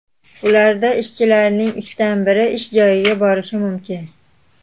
Ularda ishchilarning uchdan biri ish joyiga borishi mumkin.